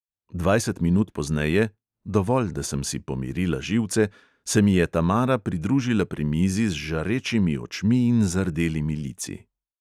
Dvajset minut pozneje‌ – dovolj, da sem si pomirila živce‌ – se mi je tamara pridružila pri mizi z žarečimi očmi in zardelimi lici.